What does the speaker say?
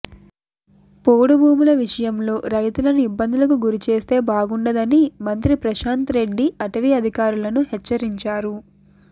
పోడు భూముల విషయంలో రైతులను ఇబ్బందులకు గురి చేస్తే బాగుండదని మంత్రి ప్రశాంత్ రెడ్డి అటవీ అధికారులను హెచ్చరించారు